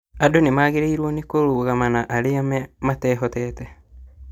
Andũ nĩmagĩrĩirwo nĩ kũrũgama na arĩa matehotete